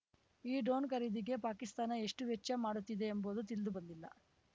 ಈ ಡ್ರೋನ್‌ ಖರೀದಿಗೆ ಪಾಕಿಸ್ತಾನ ಎಷ್ಟುವೆಚ್ಚ ಮಾಡುತ್ತಿದೆ ಎಂಬುದು ತಿಳಿದುಬಂದಿಲ್ಲ